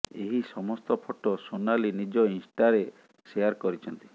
ଏହି ସମସ୍ତ ଫଟୋ ସୋନାଲି ନିଜ ଇନଷ୍ଟାରେ ସେୟାର କରିଛନ୍ତି